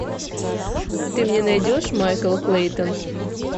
ты мне найдешь майкл клейтон